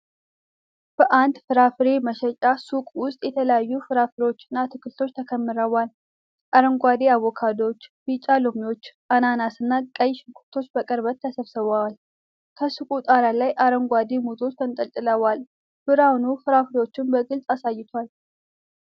በአንድ ፍራፍሬ መሸጫ ሱቅ ውስጥ የተለያዩ ፍራፍሬዎችና አትክልቶች ተከምረዋል። አረንጓዴ አቮካዶዎች፣ ቢጫ ሎሚዎች፣ አናናስና ቀይ ሽንኩርቶች በቅርበት ተሰብስበዋል። ከሱቁ ጣሪያ ላይ አረንጓዴ ሙዞች ተንጠልጥለዋል። ብርሃኑ ፍራፍሬዎቹን በግልጽ አሳይቷል።